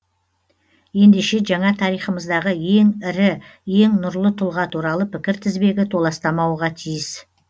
ендеше жаңа тарихымыздағы ең ірі ең нұрлы тұлға туралы пікір тізбегі толастамауға тиіс